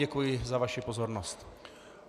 Děkuji za vaši pozornost.